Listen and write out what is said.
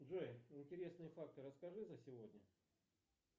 джой интересные факты расскажи за сегодня